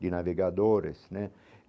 de navegadores né.